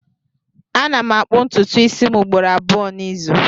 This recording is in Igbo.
Ana m akpụ ntụtụ isi m ugboro abụọ n'izu